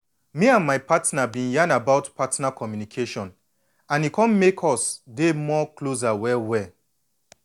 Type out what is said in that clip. me and my partner been yan about partner communication and e come make us dey more closer well well.